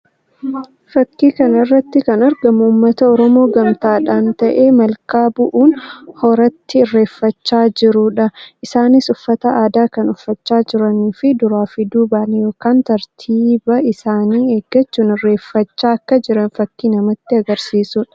Fakkii kana irratti kan argamu uummata Oromoo gamtaadhaan ta'ee malkaa bu'uun horatti irreeffachaa jiruu dha. Isaannis uffata aadaa kan uffachaa jiranii fi duraa duubaan yookiin tartiiba isaanii eeggachuun irreeffachaa akka jiran fakkii namatti agarsiisuu dha.